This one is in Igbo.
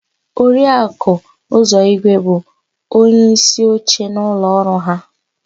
Oriaku Uzọigwe bụ onyeísíoche n'ụlọọrụ áhụ̀.